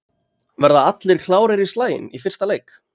Verða allir aðrir klárir í slaginn í fyrsta leik?